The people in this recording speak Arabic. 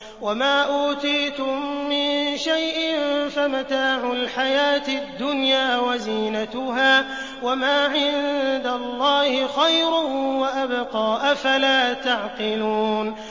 وَمَا أُوتِيتُم مِّن شَيْءٍ فَمَتَاعُ الْحَيَاةِ الدُّنْيَا وَزِينَتُهَا ۚ وَمَا عِندَ اللَّهِ خَيْرٌ وَأَبْقَىٰ ۚ أَفَلَا تَعْقِلُونَ